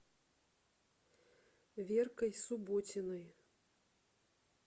веркой субботиной